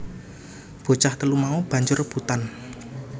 Bocah telu mau banjur rebutan